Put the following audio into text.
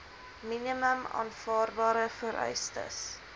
minimum aanvaarbare vereistes